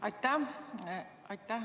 Aitäh!